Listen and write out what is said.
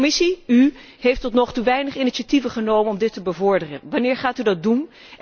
De Europese Commissie, u, heeft tot nu toe weinig initiatieven genomen om dit te bevorderen. Wanneer gaat u dat doen?